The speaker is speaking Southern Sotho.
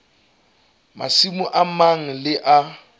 masimo a mang le a